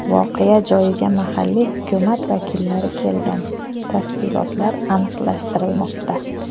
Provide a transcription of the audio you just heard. Voqea joyiga mahalliy hukumat vakillari kelgan, tafsilotlar aniqlashtirilmoqda.